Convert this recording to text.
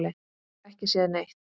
Ekki séð neitt.